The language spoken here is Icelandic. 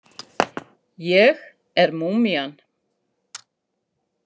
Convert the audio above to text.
Ég er múmían.